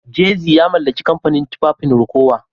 Jazzy ya mallaki kamfanin tufafin Rocawear